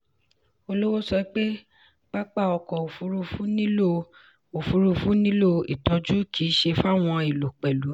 olówó sọ pé pápá ọkọ̀ òfurufú nílò òfurufú nílò ìtọ́jú kì í ṣe fawọn èlò pẹ̀lú.